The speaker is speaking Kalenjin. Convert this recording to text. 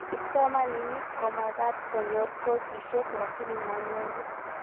Kipsomanink komagat konyor kosishek lakini manyoru